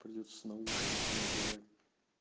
придётся наушники надевать